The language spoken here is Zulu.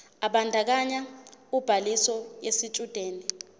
ebandakanya ubhaliso yesitshudeni